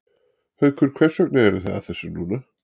Haukur hvers vegna eruð þið að þessu núna?